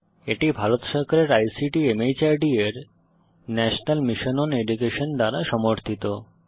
এটি ভারত সরকারের আইসিটি মাহর্দ এর ন্যাশনাল মিশন ওন এডুকেশন দ্বারা সমর্থিত